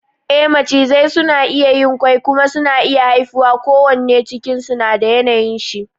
E Macizai suna iya yin kwai kuma suna iya haifuwa ko wanne cikin su na da yanayin shi